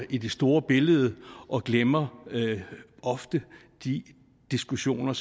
i det store billede og glemmer ofte de diskussioner